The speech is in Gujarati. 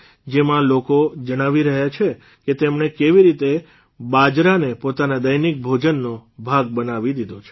જેમાં લોકો જણાવી રહ્યા છે કે તેમણે કેવી રીતે બાજરાને પોતાના દૈનિક ભોજનનો ભાગ બનાવી દીધો છે